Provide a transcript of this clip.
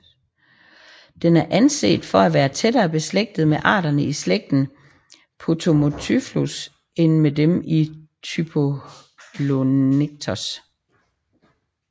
Den er anset for at være tættere beslægtet med arterne i slægten Potomotyphlus end med dem i Typholonectes